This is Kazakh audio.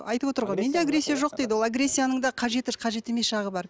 айтып отыр ғой менде агрессия жоқ дейді ол агрессияның да қажеті қажет емес жағы бар